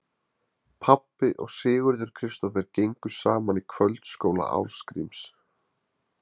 Pabbi og Sigurður Kristófer gengu saman í kvöldskóla Ásgríms